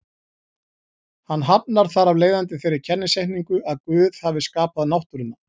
Hann hafnar þar af leiðandi þeirri kennisetningu að Guð hafi skapað náttúruna.